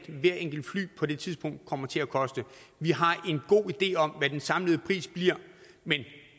hvert enkelt fly på det tidspunkt kommer til at koste vi har en god idé om hvad den samlede pris bliver men